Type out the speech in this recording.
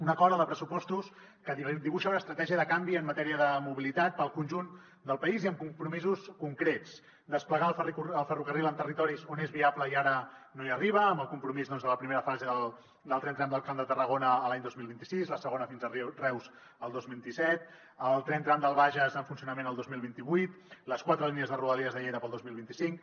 un acord el de pressupostos que dibuixa una estratègia de canvi en matèria de mobilitat per al conjunt del país i amb compromisos concrets desplegar el ferrocarril en territoris on és viable i ara no hi arriba amb el compromís de la primera fase del tren tram del camp de tarragona l’any dos mil vint sis i la segona fins a reus el dos mil disset el tren tram del bages en funcionament el dos mil vint vuit les quatre línies de rodalies de lleida per al dos mil vint cinc